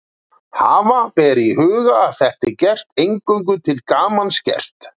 Hafa ber í huga að þetta er eingöngu til gamans gert.